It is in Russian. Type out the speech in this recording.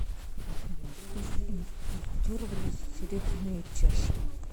афина откуда импортировались серебряные чаши